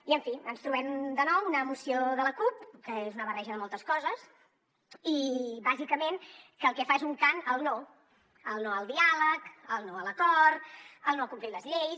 i en fi ens trobem de nou una moció de la cup que és una barreja de moltes coses i bàsicament que el que fa és un cant al no el no al diàleg el no a l’acord el no a complir les lleis